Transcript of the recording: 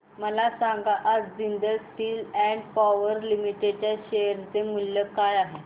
मला सांगा आज Jindal steel and power limited च्या शेअर चे मूल्य काय आहे